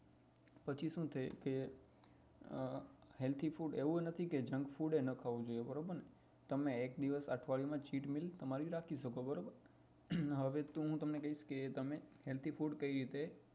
પછી શું છે કે આહ healthy food એવું નથી કે junk food એય ન ખાવું જોઈએ તમારે એક દિવસ અઠવાડિયામાં ખાઈ શકો બરોબર હવે તમને કેઈસ કે healthy food કઈ રીતે